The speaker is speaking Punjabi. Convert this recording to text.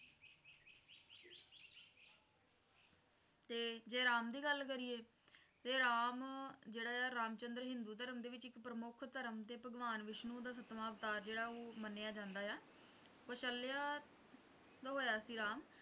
ਤੇ ਜੇ ਰਾਮ ਦੀ ਗੱਲ ਕਰੀਏ ਇਹ ਰਾਮ ਜਿਹੜਾ ਹੈ ਰਾਮ ਚੰਦਰ ਹਿੰਦੂ ਧਰਮ ਦੇ ਵਿੱਚ ਇੱਕ ਮੁੱਖ ਧਰਮ ਤੇ ਭਗਵਾਨ ਵਿਸ਼ਨੂੰ ਦਾ ਸੱਤਵਾਂ ਅਵਤਾਰ ਜਿਹੜਾ ਹੈ ਉਹ ਮੰਨਿਆ ਜਾਂਦਾ ਹੈ ਕੌਸ਼ਲਿਆ ਦੇ ਹੋਇਆ ਸੀ ਰਾਮ